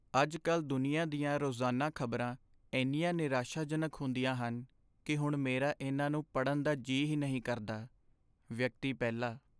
ਅੱਜ ਕੱਲ੍ਹ ਦੁਨੀਆ ਦੀਆਂ ਰੋਜ਼ਾਨਾ ਖ਼ਬਰਾਂ ਇੰਨੀਆਂ ਨਿਰਾਸ਼ਾਜਨਕ ਹੁੰਦੀਆਂ ਹਨ ਕੀ ਹੁਣ ਮੇਰਾ ਇੰਨਾ ਨੂੰ ਪੜ੍ਹਨ ਦਾ ਜੀ ਹੀ ਨਹੀਂ ਕਰਦਾ ਵਿਅਕਤੀ ਪਹਿਲਾ